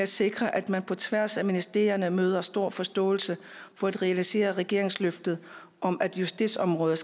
sikre at man på tværs af ministerierne møder stor forståelse for at realisere regeringens løfte om at justitsområdet